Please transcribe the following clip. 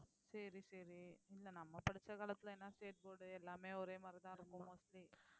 சரி சரி இல்லை நம்ம படிச்ச காலத்துல என்ன state board எல்லாமே ஒரே மாதிரிதான் இருக்கும் mostly